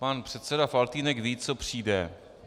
Pan předseda Faltýnek ví, co přijde.